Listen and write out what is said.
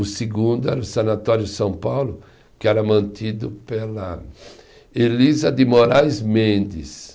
O segundo era o Sanatório São Paulo, que era mantido pela Elisa de Moraes Mendes.